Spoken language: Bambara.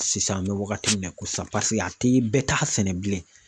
Sisan an bɛ wagati min na i ko sisan paseke a tɛ bɛɛ t'a sɛnɛ bilen.